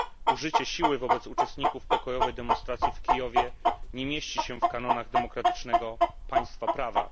Użycie siły wobec uczestników pokojowej demonstracji w Kijowie nie mieści się w kanonach demokratycznego państwa prawa.